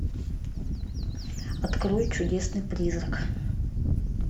открой чудесный призрак